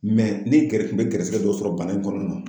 ni gɛri ne gɛrisigɛ dɔ sɔrɔ bana in kɔnɔna na